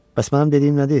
Bəs mənim dediyim nədir?